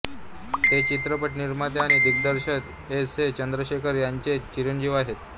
ते चित्रपट निर्माते आणि दिग्दर्शक एस ए चंद्रशेखर यांचे चिरंजीव आहेत